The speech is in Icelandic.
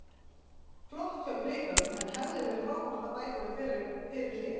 Flott hjá Blikum en hefði verið frábært að bæta við fyrir hlé.